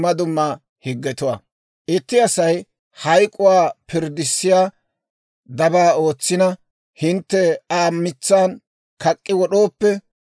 «Itti Asay hayk'uwaa pirddissiyaa dabaa ootsina, hintte Aa mitsan kak'k'i wod'ooppe,